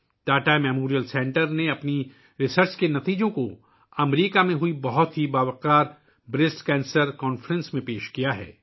Tata memorial centre نے اپنی تحقیق کے نتائج کو امریکہ میں منعقدہ بریسٹ کینسر کانفرنس میں پیش کیا ہے